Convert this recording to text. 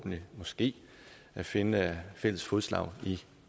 vi måske finde fælles fodslag i